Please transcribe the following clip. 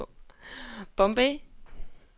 Bombay